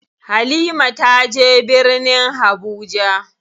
Halima taje birnin Habuja.